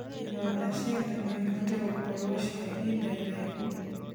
Ironda cia ndaa noĩhote gũkorwo cia ihinda iraihu